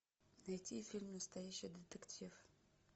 найти фильм настоящий детектив